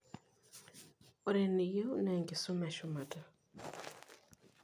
Ore eniyieu naa enkisuma eshumata.